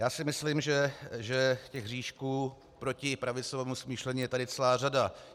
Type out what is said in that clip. Já si myslím, že těch hříšků proti pravicovému smýšlení je tady celá řada.